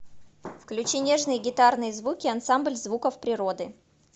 включи нежные гитарные звуки ансамбль звуков природы